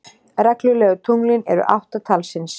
Reglulegu tunglin eru átta talsins.